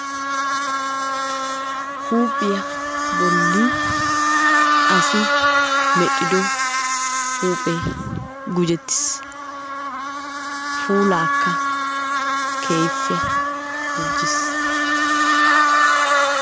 Huuphphiya bolli asi medhiddo huuphphe gujjettiis puulaakka keehippe gujjiis.